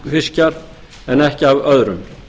fiskjar en ekki af öðrum